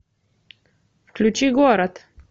включи город